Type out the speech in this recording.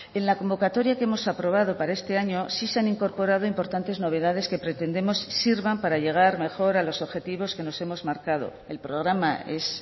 en la convocatoria que hemos aprobado para este año sí se han incorporado importantes novedades que pretendemos sirvan para llegar mejor a los objetivos que nos hemos marcado el programa es